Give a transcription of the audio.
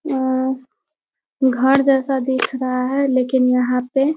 अ घर जैसा दिख रहा है लेकिन यहाँ पे --